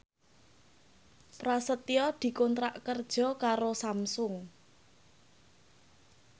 Prasetyo dikontrak kerja karo Samsung